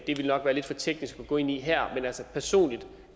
det nok være lidt for teknisk at gå ind i her men altså personligt